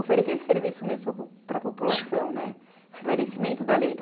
Oferecer esse serviço mesmo para a população, né, esclarecimento da lei.